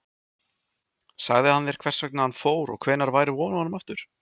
Sagði hann þér annars hvert hann fór og hvenær væri von á honum aftur?